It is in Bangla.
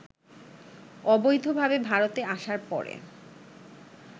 অবৈধভাবে ভারতে আসার পরে